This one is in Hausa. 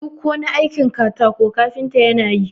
duk wani aikin katako kafinta yana yi